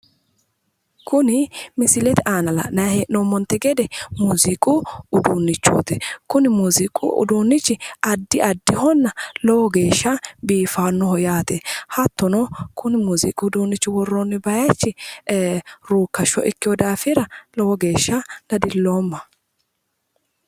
Kuni misilete aana la'nayi hee'noommonte gede muuziiqu uduunnichooti. Kuni muuziiqu uduunnichi addi addihonna lowo geeshsha buifannoho yaate. Hattono kuni muuziiqu uduunnicho worroyi bayichi ee ruukkashsho ikkiwo daafira lowo geeshsha dadilloomma.